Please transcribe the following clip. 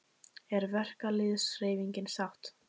Er verkalýðshreyfingin sátt?